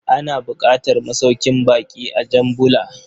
Ana buƙatar masaukin bakƙi a Jan Bula.